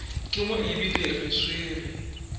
ke mo ebile re swere